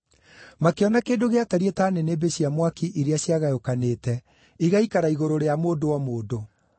Makĩona kĩndũ gĩatariĩ ta nĩnĩmbĩ cia mwaki iria ciagayũkanĩte igĩikara igũrũ rĩa mũndũ o mũndũ.